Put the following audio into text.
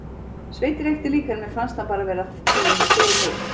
Sveinn reykti líka en mér fannst hann bara vera að því fyrir mig.